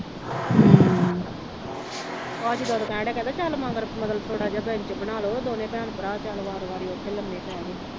ਬਾਅਦ ਚ ਕਹਿਣ ਡਿਆ ਕਹਿੰਦਾ ਚੱਲ ਮਗਰ ਮਗਰ ਥੋੜ੍ਹਾ ਜਿਹਾ ਬਣਾ ਲਉ, ਦੋਵੇ ਭੈਣ ਭਰਾ ਤੇ ਉੱਥੇ ਲੰਮੇ ਪੈ ਗਏ